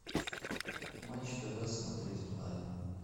матч тв смотреть онлайн